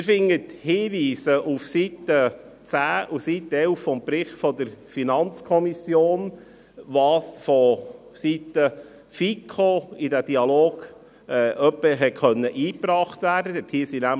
Sie finden Hinweise auf den Seiten 10 und 11 des Berichts der FiKo, was vonseiten der FiKo in diesen Dialog eingebracht werden konnte.